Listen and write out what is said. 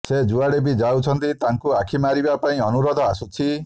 ସେ ଯୁଆଡ଼େ ବି ଯାଉଛନ୍ତି ତାଙ୍କୁ ଆଖି ମାରିବା ପାଇଁ ଅନୁରୋଧ ଆସୁଛି